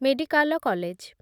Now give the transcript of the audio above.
medical college